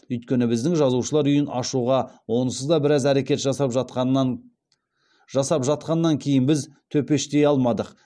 өйткені біздің жазушылар үйін ашуға онсыз да біраз әрекет жасап жатқаннан кейін біз төпештей алмадық